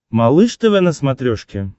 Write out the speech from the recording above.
малыш тв на смотрешке